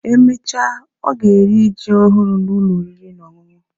Emechaa, ọ ga-eri ji ọhụrụ n'Ụlọ oriri na ọṅụṅụ